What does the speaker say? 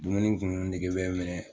Dumuni kumunen nege bɛ n minɛ